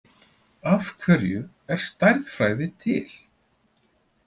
Af hverju er stærðfræði til?